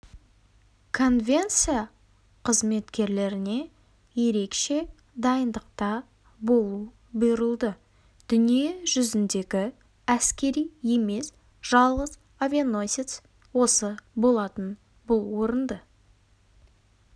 конвенция қызметкерлеріне ерекше дайындықта болу бұйырылды дүние жүзіндегі әскери емес жалғыз авианосец осы болатын бұл орынды